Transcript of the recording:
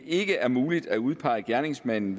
ikke er muligt at udpege gerningsmanden